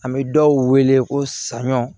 An bɛ dɔw wele ko saɲɔ